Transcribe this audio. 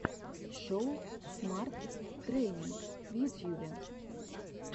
шоу смарт трэйнинг в ютьюбе